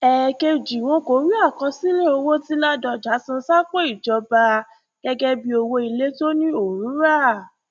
ẹẹkejì wọn kò rí àkọsílẹ owó tí ládọjà san sápò ìjọba gẹgẹ bíi owó ilé tó ní òun rà